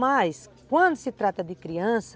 Mas quando se trata de criança,